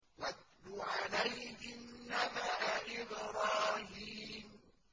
وَاتْلُ عَلَيْهِمْ نَبَأَ إِبْرَاهِيمَ